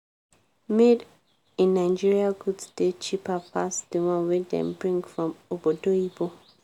made in nigeria goods dey cheper pass di one wey dem bring from obodoyinbo.